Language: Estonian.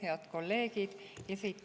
Head kolleegid!